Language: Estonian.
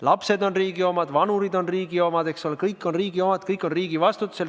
Lapsed on riigi omad, vanurid on riigi omad – kõik on riigi omad, kõik on riigi vastutusel.